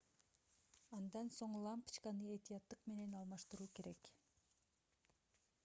андан соң лампочканы этияттык менен алмаштыруу керек